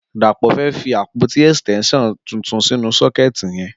Dapo fẹ́ fi ápótí ẹstẹnṣiọn tútún sinú sọkẹti yẹn